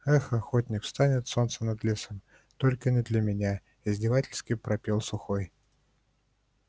эх охотник встанет солнце над лесом только не для меня издевательски пропел сухой